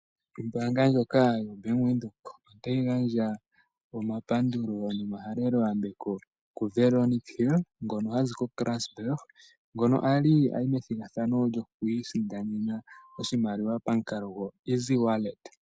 Ombaanga ndjoka yoBank Windhoke otayi gandja omapandulo nomahaleloyambeko kuVeronika Hill ha zi koKarasburg, ngono ali a yi methigathano lyoku isindanena oshimaliwa pamukalo goEasy Wallet.